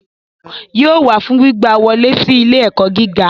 Yóò wá fún gbígba wọlé si ilé-ẹkọ gíga.